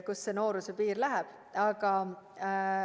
Kust see nooruse piir läheb?